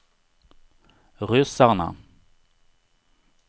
ryssarna